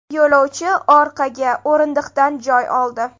Yo‘lovchi orqaga o‘rindiqdan joy oldi.